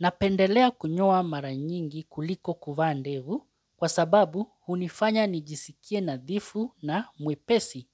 Napendelea kunyoa mara nyingi kuliko kuvaa ndevu kwa sababu hunifanya nijisikie nadhifu na mwepesi.